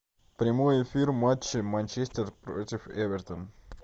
прямой эфир матча манчестер против эвертон